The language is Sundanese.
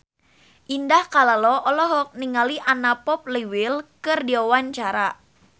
Indah Kalalo olohok ningali Anna Popplewell keur diwawancara